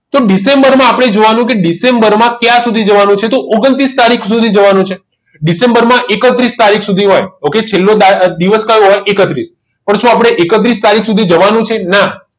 તો ડિસેમ્બરમાં આપણને જોવાનું ડિસેમ્બરમાં ક્યાં સુધી જવાનું છે તો ઓગન્તૃસ તારીખ સુધી જવાનું છે ડિસેમ્બરમાં એકત્રીસ તારીખ સુધી હોય કે છેલ્લો દિવસ કયો હોય એકત્રીસ પણ શું આપણે એકત્રીસ તારીખ સુધી જવાનું છે ના